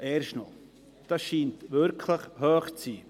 Er scheint wirklich hoch zu sein.